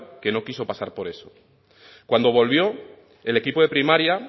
que no quiso pasar por eso cuando devolvió el equipo de primaria